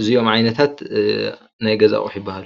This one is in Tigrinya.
እዚኦም ዓይነታት ናይ ገዛ ኣቑሑ ይበሃሉ ።